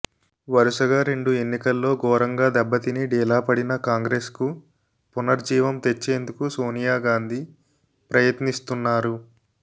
వరుసగా రెండు ఎన్నికల్లో ఘోరంగా దెబ్బతిని డీలాపడిన కాంగ్రెస్ కు పునరుజ్జీవం తెచ్చేందుకు సోనియాగాంధీ ప్రయత్నిస్తున్నారు